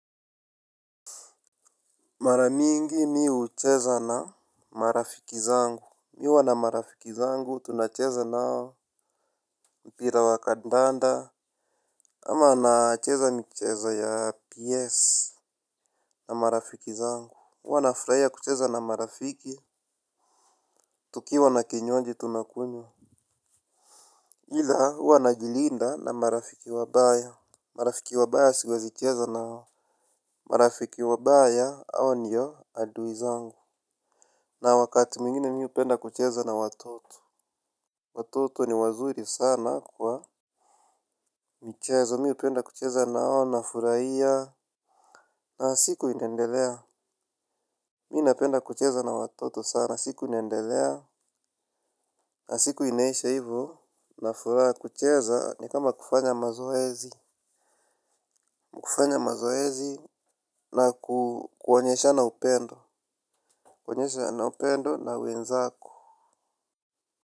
Maramingi mihucheza na marafiki zangu. Mihuwa na marafiki zangu tunacheza nao. Mpira wa kandanda ama naacheza mcheza ya PS na marafiki zangu. Huwa na furahia kucheza na marafiki tukiwa na kinywaji tunakunywa. Ila huwa na jilinda na marafiki wabaya. Marafiki wabaya siwezi cheza nao. Marafiki wabaya hao ndio adui zangu. Na wakati mwingine mihupenda kucheza na watoto. Watoto ni wazuri sana kwa michezo mi hupenda kucheza nao na furahia. Na siku inaendelea. Mi napenda kucheza na watoto sana siku inaendelea. Na siku inaisha hivyo. Na furaha kucheza ni kama kufanya mazoezi kufanya mazoezi na kuonyeshana upendo, kuonyesha na upendo na wenzako.